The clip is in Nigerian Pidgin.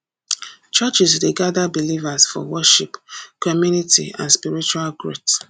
churches dey gather believers for worship community and spiritual growth